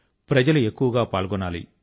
జనులు ఎక్కువ గా పాల్గొనాలి